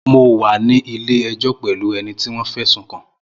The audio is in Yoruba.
Mo wà ní ilé ẹjọ́ pẹ̀lú ẹni tí wọ́n fẹ̀sùn kàn